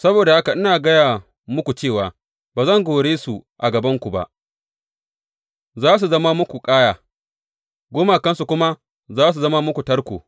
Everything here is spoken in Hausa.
Saboda haka ina gaya muku cewa ba zan kore su a gabanku ba; za su zama muku ƙaya, gumakansu kuma za su zama muku tarko.